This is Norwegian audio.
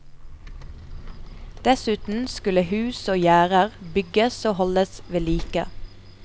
Dessuten skulle hus og gjerder bygges og holdes ved like.